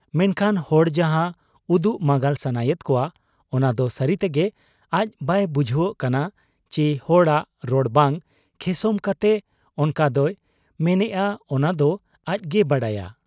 ᱢᱮᱱᱠᱷᱟᱱ ᱦᱚᱲ ᱡᱟᱦᱟᱸ ᱩᱫᱩᱜ ᱢᱟᱸᱜᱟᱞ ᱥᱟᱱᱟᱭᱮᱫ ᱠᱚᱣᱟ ᱚᱱᱟ ᱫᱚ ᱥᱟᱹᱨᱤ ᱛᱮᱜᱮ ᱟᱡ ᱵᱟᱭ ᱵᱩᱡᱷᱟᱹᱣᱜ ᱠᱟᱱᱟ ᱪᱤ ᱦᱚᱲᱟᱜ ᱨᱚᱲ ᱵᱟᱝ ᱠᱷᱮᱥᱚᱢ ᱠᱟᱛᱮ ᱚᱱᱠᱟ ᱫᱚᱭ ᱢᱮᱱᱮᱜ ᱟ ᱚᱱᱟ ᱫᱚ ᱟᱡᱜᱮᱭ ᱵᱟᱰᱟᱭᱟ ᱾